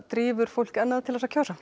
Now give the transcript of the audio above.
drífur fólk enn að til að kjósa